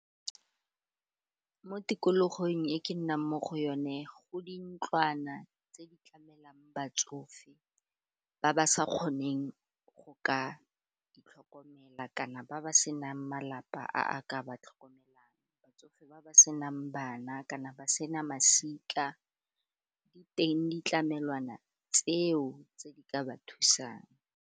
Mo tikologong e ke nnang mo go yone go dintlwana tse di tlamelang batsofe ba ba sa kgoneng go ka itlhokomela kana ba ba senang malapa a ka ba tlhokomelang batsofe ba ba senang bana kana ba sena masika di teng ditlamelwana tseo tse di ka ba thusang.